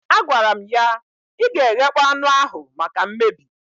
Agwara m ya, ị ga-eghekpọ anụ ahụ maka mmebi